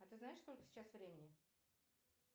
а ты знаешь сколько сейчас времени